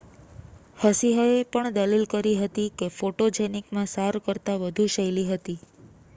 હસિહએ પણ દલીલ કરી હતી કે ફોટોજેનિક મા સાર કરતાં વધુ શૈલી હતી